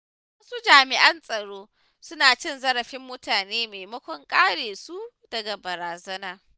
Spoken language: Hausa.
Wasu jami’an tsaron suna cin zarafin mutane maimakon kare su daga barazana.